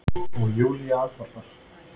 og Júlía andvarpar.